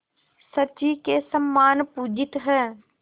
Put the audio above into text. शची के समान पूजित हैं